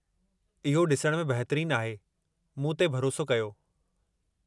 इहो ॾिसण में बहितरीनु आहे, मूं ते भरोसो कयो।